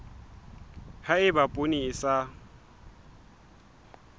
ha eba poone e sa